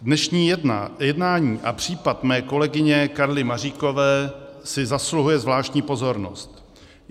Dnešní jednání a případ mé kolegyně Karly Maříkové si zasluhuje zvláštní pozornost.